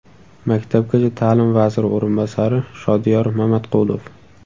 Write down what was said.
Maktabgacha ta’lim vaziri o‘rinbosari Shodiyor Mamatqulov.